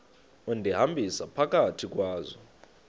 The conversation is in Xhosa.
undihambisa phakathi kwazo